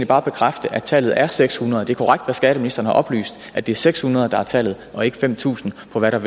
bare bekræfte at tallet er seks hundrede det korrekt at skatteministeren har oplyst at det er seks hundrede der er tallet og ikke fem tusind for hvad